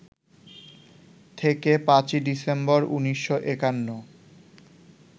থেকে ৫ই ডিসেম্বর, ১৯৫১